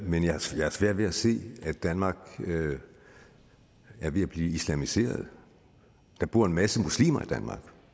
men jeg har svært ved at se at danmark er ved at blive islamiseret der bor en masse muslimer i danmark